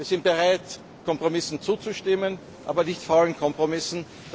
Wir sind bereit, Kompromissen zuzustimmen, aber nicht faulen Kompromissen.